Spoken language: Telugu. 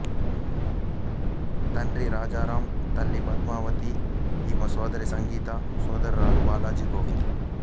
తండ్రి రాజారామ్ తల్లి పద్మావతి ఈమె సోదరి సంగీత సోదరులు బాలాజి గోవింద్